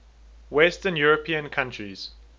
western european countries